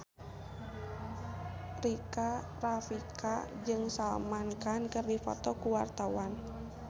Rika Rafika jeung Salman Khan keur dipoto ku wartawan